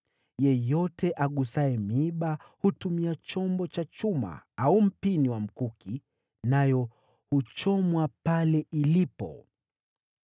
Yeyote agusaye miiba hutumia chombo cha chuma au mpini wa mkuki, nayo huchomwa pale ilipo.”